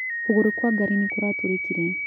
Kũgorũ kwa gari nĩ kũratũrĩkire.